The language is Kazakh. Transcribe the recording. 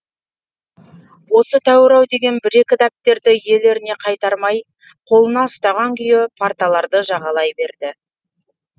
осы тәуір ау деген бір екі дәптерді иелеріне қайтармай қолына ұстаған күйі парталарды жағалай берді